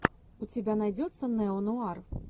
у тебя найдется неонуар